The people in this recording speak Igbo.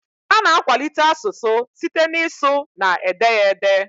Ana akwalite asụsụ site na ịsụ na ede ya ede